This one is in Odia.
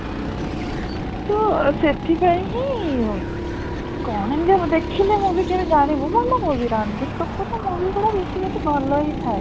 ହା ସେଥିପାଇଁ ହିଁ ଉଁ କ'ଣ ଏମିତିଆ ଦେଖିଲେ movie କେବେ ଜାଣିବୁ ଭଲ movie ରଣବୀର କପୂର ର movie ଗୁଡା basically ଭଲ ହିଁ ଥାଏ